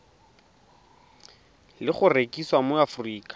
le go rekisiwa mo aforika